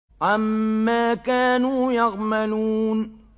عَمَّا كَانُوا يَعْمَلُونَ